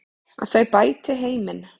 Að þau bæti heiminn.